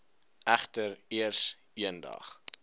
egter eers eendag